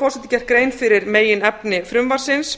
nú gert grein fyrir meginefni frumvarpsins